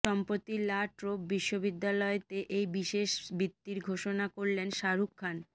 সম্প্রতিই La Trobe বিশ্ববিদ্যালয়তে এই বিশেষ বৃত্তির ঘোষণা করলেন শাহরুখ খান